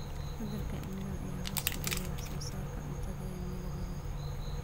Isbeddelka cimilada ayaa hoos u dhigay wax soo saarka cuntada ee meelo badan.